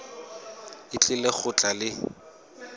o tlile go tla le